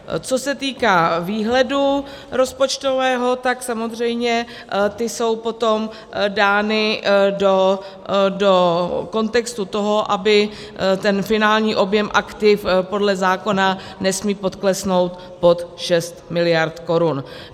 Co se týká výhledu rozpočtového, tak samozřejmě ty jsou potom dány do kontextu toho, aby ten finální objem aktiv - podle zákona nesmí poklesnout pod 6 miliard korun.